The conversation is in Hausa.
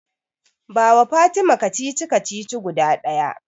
Bawa Fatima kacici-kacici guda ɗaya.